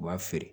U b'a feere